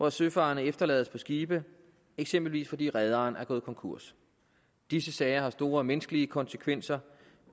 at søfarende efterlades på skibe eksempelvis fordi rederen er gået konkurs disse sager har store menneskelige konsekvenser